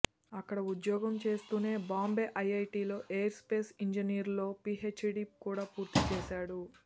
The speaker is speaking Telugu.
అక్కడ ఉద్యొగం చేస్తూనే బాంబే ఐఐటీలో ఏరోస్పేస్ ఇంజినీరింగ్లో పీహెచ్డీ కూడా పూర్తి చేశాడు